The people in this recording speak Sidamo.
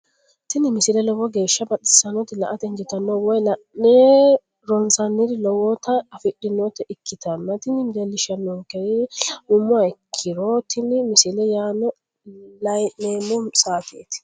tini misile lowo geeshsha baxissannote la"ate injiitanno woy la'ne ronsannire lowote afidhinota ikkitanna tini leellishshannonkeri la'nummoha ikkiro tini misile yanna layii'neemmo saateeti.